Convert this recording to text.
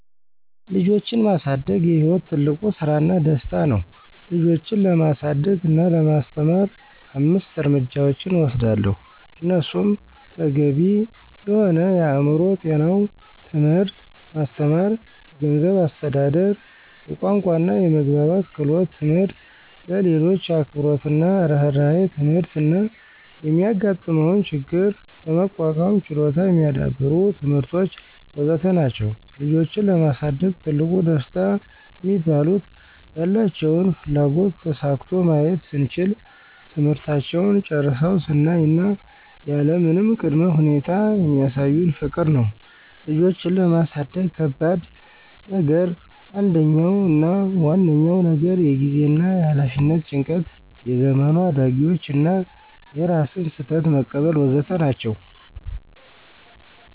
ልጆችን ማሳደግ የሕይወት ትልቁ ስራና ደስታ ነው ልጆችን ለማሳደግ እና ለማስተማር አምስት እርምጃዎችን እወስዳለሁ እነሱም ተገቢ የሆነ የአእምሮ ጤናው ትምህርት ማስተማር፣ የገንዝብ አስተዳደር፣ የቋንቋና የመግባባት ክህሎት ትምህርት፣ ለሌሎች አክብሮትና እርህራሄ ትምህርት እና የሚጋጥመውን ችግር ለመቋቋም ችሎታ የሚዳብሩ ትምህርቶች.. ወዘተ ናቸዉ። ልጆችን ለማሳደግ ትልቁ ደስታ ሚባሉት፦ ያላቸውን ፍላጎት ተሳክቶ ማየት ስንችል፣ ትምህርታቸውን ጨርሰው ስናይ እና ያለምንም ቀ ቅድመ ሁኔታ የሚሳዩን ፍቅር ነው። ልጆችን ለማሳደግ ከባድ ነገር አንደኛው አና ዋነኛው ነገር የጊዜና የኋላፊነት ጭንቀት፣ የዘመኑ አዳጊዎቹ እና የራስን ስህተት መቀበል.. ወዘተ ናቸው።